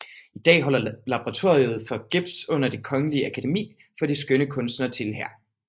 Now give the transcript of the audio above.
I dag holder Laboratoriet for Gips under Det Kongelige Akademi for de Skønne Kunster til her